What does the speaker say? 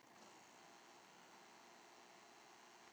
Út kemur lítið lauf.